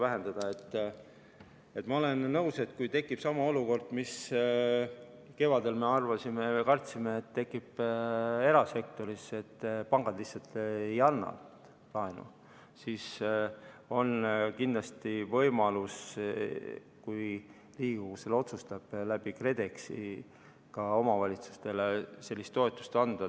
Ma olen nõus, et kui erasektoris tekib sama olukord, nagu me kevadel kartsime, et pangad lihtsalt ei anna laenu, siis on kindlasti võimalus, kui Riigikogu selle otsustab, läbi KredExi ka omavalitsustele sellist toetust anda.